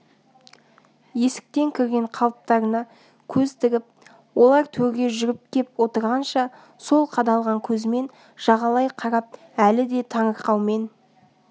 есіктен кірген қалыптарына көз тігіп олар төрге жүріп кеп отырғанша сол қадалған көзімен жағалай қарап әлі де таңырқаумен